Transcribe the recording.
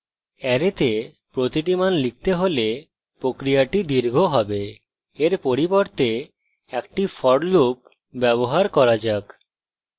অ্যারেতে প্রতিটি মান লিখতে হলে প্রক্রিয়াটি দীর্ঘ have এর পরিবর্তে একটি for loop ব্যবহার করা যাক